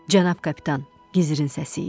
Cənab kapitan, gizirin səsi idi.